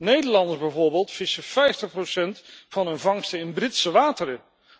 Nederlanders bijvoorbeeld vissen 50 van hun vangsten in Britse wateren.